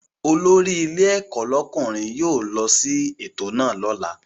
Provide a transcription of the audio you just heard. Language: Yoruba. Olórí ilé ẹ̀kọ́ lọ́kùnrin yóò lọ sí ètò náà lọ́la